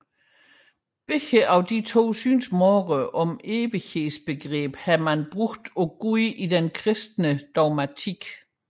Begge disse synsmåder om evighedens begreb har man anvendt på Gud i den kristne dogmatik